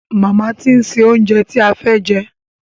Màmá ti ń se oúnjẹ ti a fẹ́ jẹ.